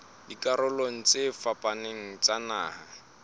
dikarolong tse fapaneng tsa naha